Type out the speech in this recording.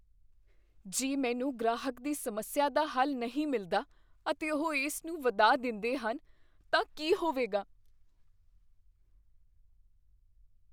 ਜੇ ਮੈਨੂੰ ਗ੍ਰਾਹਕ ਦੀ ਸਮੱਸਿਆ ਦਾ ਹੱਲ ਨਹੀਂ ਮਿਲਦਾ ਅਤੇ ਉਹ ਇਸ ਨੂੰ ਵਧਾ ਦਿੰਦੇਹਨ ਤਾਂ ਕੀ ਹੋਵੇਗਾ?